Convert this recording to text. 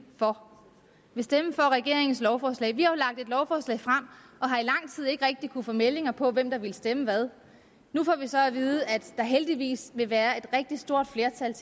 for regeringens lovforslag vi har jo lagt et lovforslag frem og har i lang tid ikke rigtig kunnet formidlinger på hvem der ville stemme hvad nu får vi så at vide at der heldigvis vil være et rigtig stort flertal